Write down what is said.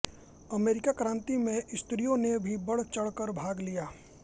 अमेरिकी क्रांति में स्त्रियों ने भी बढ़चढ़ कर भाग लिया